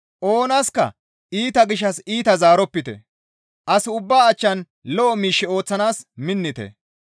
Oonaska iita gishshas iita zaaropite; as ubbaa achchan lo7o miish ooththanaas minnite.